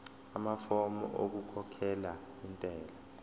amafomu okukhokhela intela